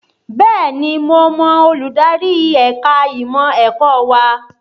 Bẹ́ẹ̀ni mo mọ olùdarí ẹ̀ka ìmọ̀ ẹ̀kọ́ wa